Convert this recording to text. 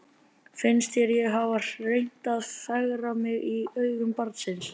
Finnst þér ég hafa reynt að fegra mig í augum barnsins?